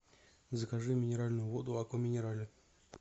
закажи минеральную воду аква минерале